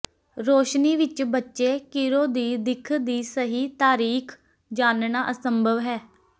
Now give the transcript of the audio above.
ਰੌਸ਼ਨੀ ਵਿੱਚ ਬੱਚੇ ਕਿਰੋ ਦੀ ਦਿੱਖ ਦੀ ਸਹੀ ਤਾਰੀਖ ਜਾਣਨਾ ਅਸੰਭਵ ਹੈ